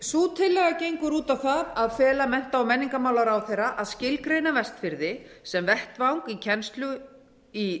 sú tillaga gengur út á það að fela mennta og menningarmálaráðherra að skilgreina vestfirði sem vettvang kennslu í